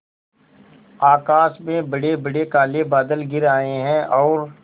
आकाश में बड़ेबड़े काले बादल घिर आए हैं और